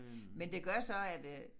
Men det gør så at øh